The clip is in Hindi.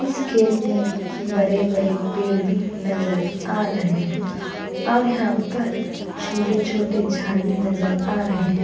इस खेत में बड़े-बड़े पेड़ भी नजर आ रहे हैं और यहाँ पर छोटे-छोटे झाड भी नजर आ रहे हैं।